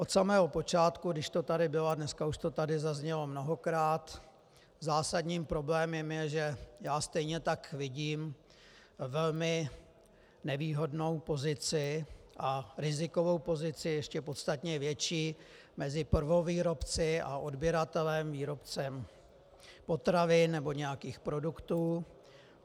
Od samého počátku, když to tady bylo, a dneska už to tady zaznělo mnohokrát, zásadním problémem je, že já stejně tak vidím velmi nevýhodnou pozici a rizikovou pozici ještě podstatně větší mezi prvovýrobci a odběratelem výrobcem potravin nebo nějakých produktů.